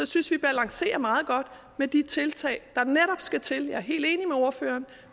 synes vi balancerer meget godt med de tiltag der netop skal til jeg er helt enig med ordføreren